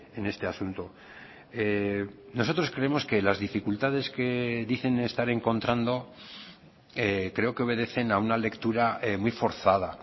en este asunto nosotros creemos que las dificultades que dicen estar encontrando creo que obedecen a una lectura muy forzada